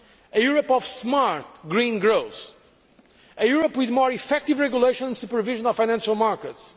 a Europe of smart, green growth a Europe with more effective regulation and supervision of financial markets